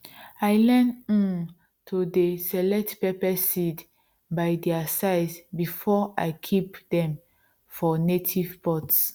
i learn um to dey select pepper seeds by their size before i keep dem for native pots